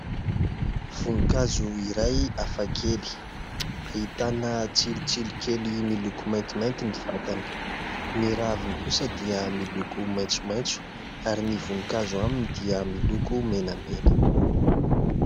Voninkazo iray hafakely ahitana tsilotsilo kely miloko maintimainty ny vatany, ny raviny kosa dia miloko maitsomaitso ary ny voninkazo aminy dia miloko menamena.